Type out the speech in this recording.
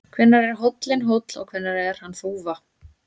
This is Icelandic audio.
Hvenær er hóllinn hóll og hvenær er hann þúfa?